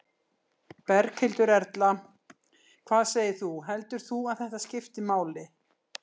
Berghildur Erla: Hvað segir þú, heldur þú að þetta skipti máli?